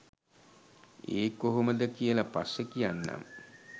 ඒ කොහොමද කියල පස්සේ කියන්නම්.